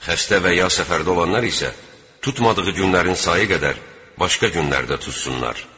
Xəstə və ya səfərdə olanlar isə tutmadığı günlərin sayı qədər başqa günlərdə tutsunlar.